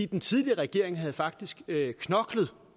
den tidligere regering havde faktisk knoklet